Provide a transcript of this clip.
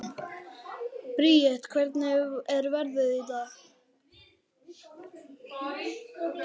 Briet, hvernig er veðrið í dag?